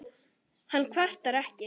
Hann kvartar ekki.